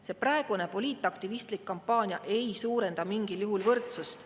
See praegune poliitaktivistlik kampaania ei suurenda mingil juhul võrdsust.